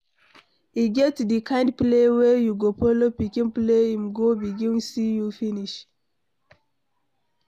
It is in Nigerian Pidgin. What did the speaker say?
E get di kind play wey you go follow pikin play im go begin see you finish